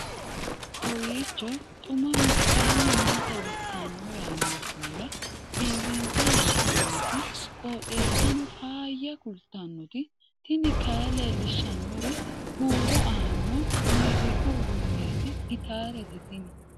kowiicho xuma mtini maa xawissanno yaannohura biifinse haa'noonniti qooxeessano faayya kultanno tini kayi leellishshannori huuro aannoho mooziqu uduunneeti gitaarete tini